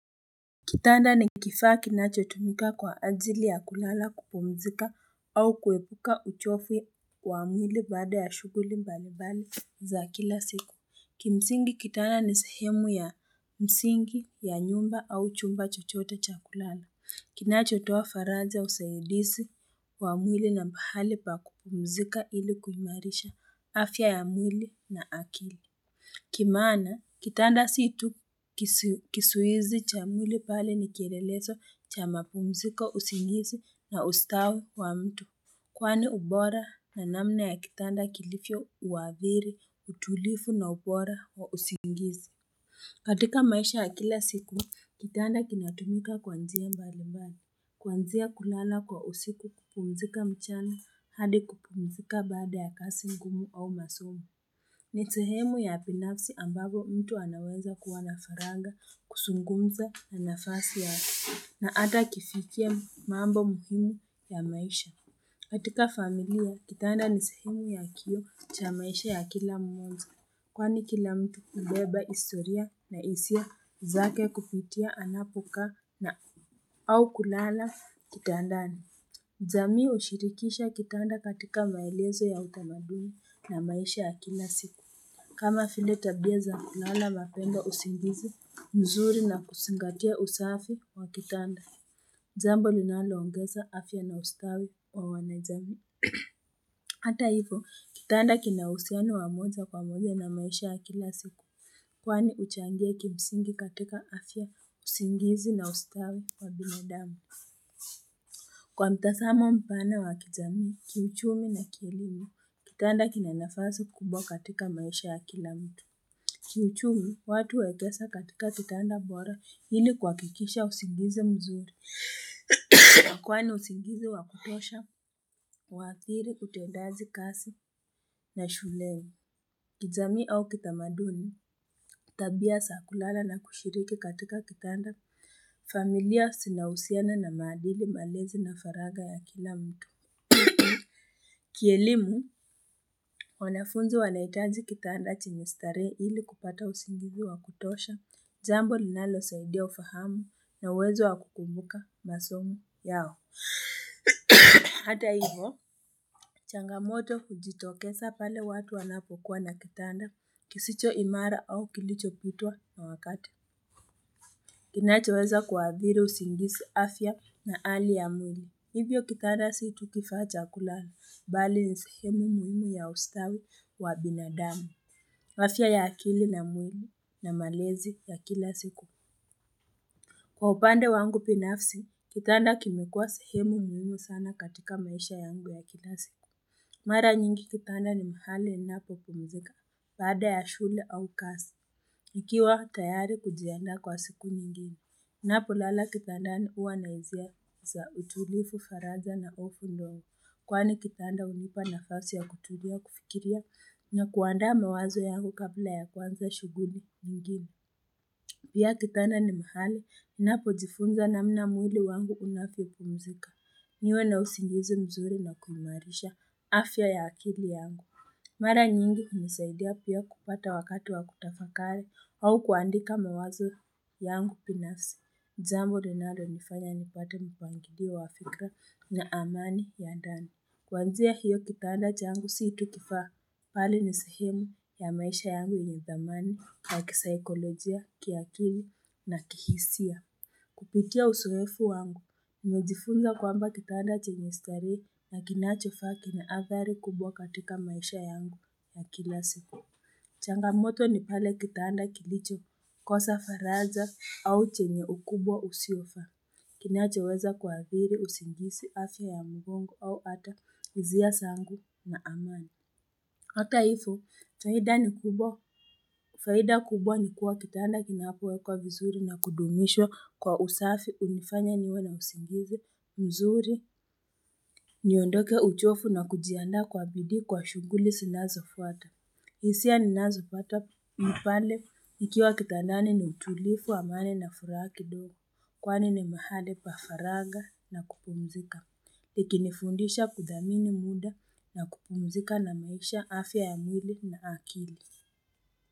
Kitanda ni kifaa kinachotumika kwa ajili ya kulala kupumzika au kuepuka uchofu wa mwili baada ya shuguli mbalimbali za kila siku. Kimsingi kitanda ni sehemu ya msingi ya nyumba au chumba chochote cha kulala. Kinachotoa faraja ya usaidisi wa mwili na pahali pa kupumzika ili kuimarisha afya ya mwili na akili. Kimaana kitanda situ kisuwizi cha mwili bali ni kielelezo cha mapumziko usingizi na ustawi wa mtu Kwani ubora na namna ya kitanda kilifio uadhiri utulifu na ubora wa usingizi katika maisha ya kila siku, kitanda kinatumika kuanzia mbalimbani Kwanzia kulana kwa usiku kupumzika mchana hadi kupumzika baada ya kasi ngumu au masomo ni sehemu ya binafsi ambapo mtu anaweza kuwa na faranga, kusungumza na nafasi ya hati, na ata kifikia mambo muhimu ya maisha. Katika familia, kitanda ni sehemu ya kioo cha maisha ya kila mmoja, kwani kila mtu hubeba istoria na isia zake kupitia anapokaa na au kulala kitandani. Jamii ushirikisha kitanda katika maelezo ya utamaduni na maisha ya kila siku. Kama vile tabia za, nala mapenda usingizi mzuri na kusingatia usafi wa kitanda. Jambo linaloongeza afya na ustawi wa wanajamii. Hata hivyo, kitanda kinahusiano wamoja kwa moja na maisha ya kila siku. Kwani uchangia kimsingi katika afya, usingizi na ustawi wa binadamu. Kwa mtasamo mpana wa kijamii, kiuchumi na kielimu, kitanda kinanafasi kubwa katika maisha ya kila mtu. Kiuchumi, watu wekesa katika kitanda bora hili kuakikisha usingizi mzuri. Nakwani usingizi wakutosha, uadhiri, utendazi kasi ya shuleni. Kijamii au kitamaduni, tabia sa kulala na kushiriki katika kitanda familia sinausiana na maadili malezi na faraga ya kila mtu. Kielimu, wanafunzi wanaitaji kitanda chenye starehe ili kupata usingizi wa kutosha, jambo linalo saidia ufahamu na uwezo wa kukumbuka masomo yao. Hata hivo, changamoto hujitokesa pale watu wanapokuwa na kitanda, kisicho imara au kilicho pitwa na wakati. Kinachoweza kuadhiri usingisi afya na ali ya mwili. Hivyo kitanda situ kifaa cha kulala bali ni sehemu muhimu ya ustawi wa binadamu. Afya ya akili na mwili na malezi ya kila siku. Kwa upande wangu binafsi, kitanda kimekuwa sehemu muhimu sana katika maisha yangu ya kila siku. Mara nyingi kitanda ni mahali ninapo pumzika baada ya shule au kasi. Ikiwa tayari kujiandaa kwa siku nyingine. Napo lala kitanda ni uwa naizia za utulifu faraja na ofu ndo uwa kwa ni kitanda unipa na fasi ya kutulia kufikiria na kuandaa mawazo yangu kabla ya kuanza shuguli nyingine. Pia kitanda ni mahali, napo jifunza namna mwili wangu unavyopumzika, niwe na usingizi mzuri na kuimarisha afya ya akili yangu. Mara nyingi unisaidia pia kupata wakati wa kutafakari au kuandika mawazo yangu binafsi. Jambo linalonifanya nipate mpangilio wa fikra na amani ya ndani. Kuanzia hiyo kitanda changu siitu kifaa bali nisehemu ya maisha yangu ni thamani ya kisaikolojia, kiakili na kihisia. Kupitia usoefu wangu, nimejifunza kwamba kitanda chenye starehe na kinachofaa kina athari kubwa katika maisha yangu na kila siku. Changamoto ni pale kitanda kilicho kosa faraja au chenye ukubwa usiofaa. Kinachoweza kuadhiri usingisi afya ya mbongo au ata izia sangu na amani. Hata ivyo, faida ni kubwa, faida kubwa ni kuwa kitanda kinapowe kwa vizuri na kudumishwa kwa usafi unifanya niwe na usingizi, mzuri, niondoke uchofu na kujiandaa kwa bidii kwa shughuli zinazo fuata. Isia ni nazo patwa mpale nikiwa kitandani ni utulifu wa amani na furaha kidogo kwa ni ni mahali pafaraga na kupumzika. Likini fundisha kudhamini muda na kupumzika na maisha afya ya mwili na akili.